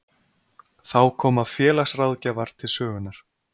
Þá koma félagsráðgjafar til sögunnar